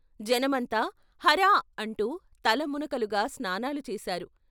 జనమంతా ' హరా ' అంటూ తల మునకలుగా స్నానాలు చేశారు.